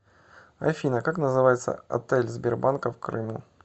афина как называется отель сбербанка в крыму